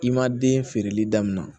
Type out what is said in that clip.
I ma den feereli daminɛ